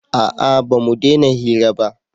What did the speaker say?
a'a ba mu dena hira ba